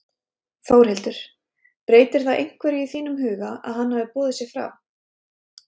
Þórhildur: Breytir það einhverju í þínum huga að hann hafi boðið sig fram?